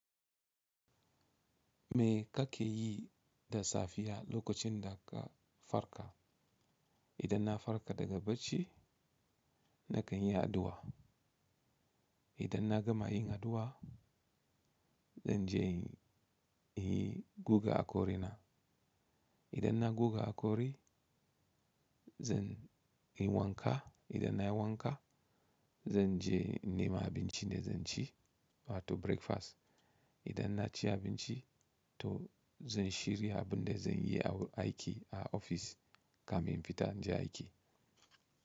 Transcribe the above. Me kake yi da safiya lokacin da ka farka? Idan na farka daga bacci, na kan yi addu'a. Idan na gama yin addu'a, zan je in yi gugan haƙori na. Idan na guga haƙori, zan yi wanka. Idan na yi wanka, zan je in nemi abincin da zan ci, wato breakfast. Idan na ci abinci to zan shirya abun da zan yi aiki a ofis kafin in fita na je aiki.